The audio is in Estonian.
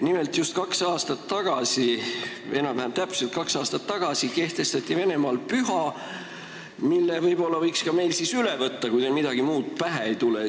Nimelt, just kaks aastat tagasi või enam-vähem kaks aastat tagasi kehtestati Venemaal püha, mille võib-olla võiks ka meil siis üle võtta, kui teil midagi muud pähe ei tule.